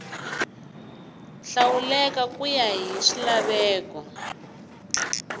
hlawuleka ku ya hi swilaveko